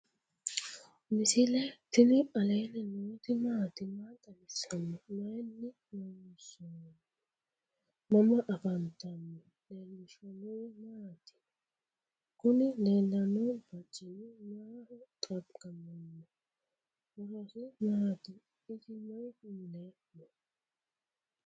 misile tini alenni nooti maati? maa xawissanno? Maayinni loonisoonni? mama affanttanno? leelishanori maati? kunni lelano barcini maho xagamano? horosi mati? isi mayi mule no?